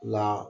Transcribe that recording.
La